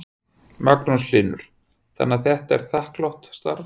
Magnús Hlynur: Þannig að þetta er þakklátt starf?